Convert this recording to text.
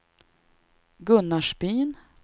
Gunnarsbyn